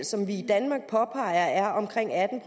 som vi i danmark påpeger er omkring atten